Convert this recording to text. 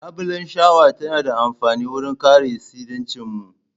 Labulan shawa tana da amfani wurin kare tsiracin mun.